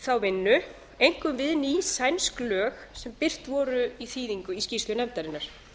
þá vinnu einkum við ný sænsk lög sem birt voru í þýðingu í skýrslu nefndarinnar